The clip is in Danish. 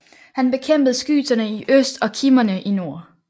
Han bekæmpede skyterne i øst og kimmerne i nord